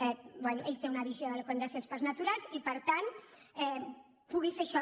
bé ell té una visió del que han de fer els parcs naturals i per tant pugui fer això